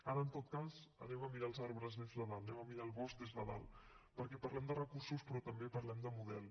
ara en tot cas anem a mirar els arbres des de dalt anem a mirar el bosc des de dalt perquè parlem de recursos però també parlem de model